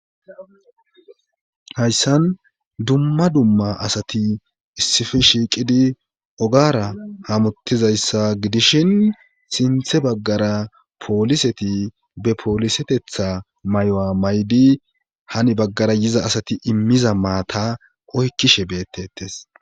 Hayssan dumma dumma asati issifi shiiqidi ogara hamuttizayssa gidishin sinthe baggara pooliseti be poolisetetha may'oa may'di hani baggara yiza asati immiza maata oykkishe beettettes.